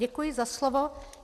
Děkuji za slovo.